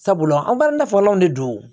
Sabula an balila fɔlɔn de don